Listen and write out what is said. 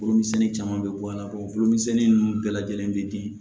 Foro misɛnnin caman bɛ bɔ a la o foro misɛnnin ninnu bɛɛ lajɛlen bɛ di